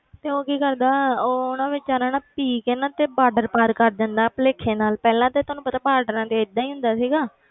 ਤੇ ਉਹ ਕੀ ਕਰਦਾ ਉਹ ਨਾ ਬੇਚਾਰਾ ਨਾ ਪੀ ਕੇ ਨਾ ਤੇ border ਪਾਰ ਕਰ ਜਾਂਦਾ ਭੁਲੇਖੇ ਨਾਲ ਪਹਿਲਾਂ ਤਾਂ ਤੁਹਾਨੂੰ ਪਤਾ borders ਤੇ ਏਦਾਂ ਹੀ ਹੁੰਦਾ ਸੀਗਾ,